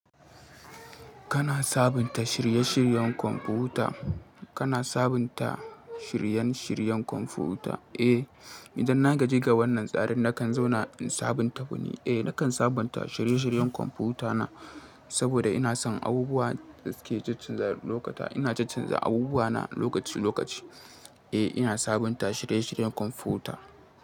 Kana sabunta shirye-shiryen kwamfuta? Kana sabunta shiryen-shiryen kwamfuta? Eh, idan na gaji ga wannan tsarin nakan zauna in sabunta wa ni. Eh, nakan sabunta shirye-shiryen kwamfutana saboda ina son abubuwan da suke caccanza lokata. Ina caccanza abubuwana lokaci lokaci. Eh, ina sabunta shirye-shiryen kwamfuta.